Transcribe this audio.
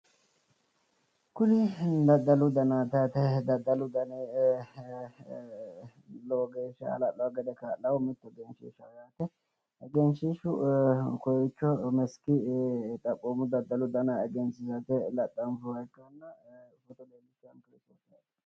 Kuni daddalu danaati yaate daddalu dani lowo geeshsha hala'ladore kaa'laho egenshiishshu kowiicho meski xaphoomu daddalu dana egensiisate laxxanfoonniha leellishshanno misileeti.